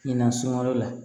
Ɲinan sunwalo la